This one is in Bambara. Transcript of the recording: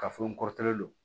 K'a fɔ n kɔrɔkɛ don